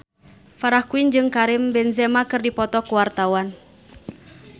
Farah Quinn jeung Karim Benzema keur dipoto ku wartawan